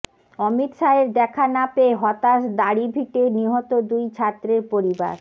অমিত শাহের দেখা না পেয়ে হতাশ দাড়িভিটে নিহত দুই ছাত্রের পরিবার